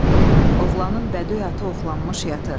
Oğlanın bədöy atı oxlanmış yatır.